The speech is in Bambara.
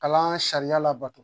Kalan sariya labato